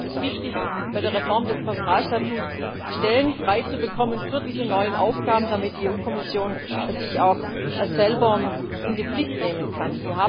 Deswegen ist es wichtig, bei der Reform des Personalstatuts Stellen freizubekommen für diese neuen Aufgaben, damit die Kommission sich auch selber in die Pflicht nehmen kann.